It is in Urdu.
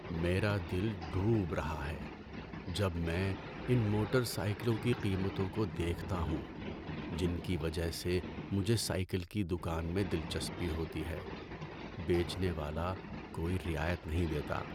میرا دل ڈوب رہا ہے جب میں ان موٹر سائیکلوں کی قیمتوں کو دیکھتا ہوں، جن کی وجہ سے مجھے سائیکل کی دکان میں دلچسپی ہوتی ہے۔ بیچنے والا کوئی رعایت نہیں دیتا۔